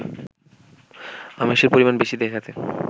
আমিষের পরিমাণ বেশি দেখাতে